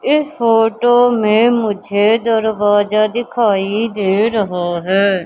इस फोटो में मुझे दरवाजा दिखाई दे रहा है।